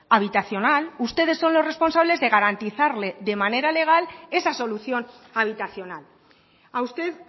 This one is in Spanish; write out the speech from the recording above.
habitacional ustedes son los responsables de garantizarle de manera legal esa solución habitacional a usted